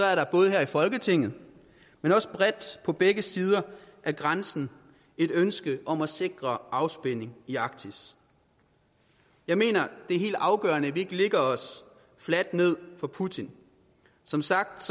er der både her i folketinget men også bredt på begge sider af grænsen et ønske om at sikre afspænding i arktis jeg mener det er helt afgørende at vi ikke lægger os fladt ned for putin som sagt